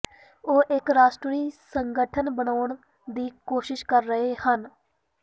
ਉਹ ਇਕ ਰਾਸ਼ਟਰੀ ਸੰਗਠਨ ਬਣਾਉਣ ਦੀ ਕੋਸ਼ਿਸ਼ ਕਰ ਰਹੇ ਹਨ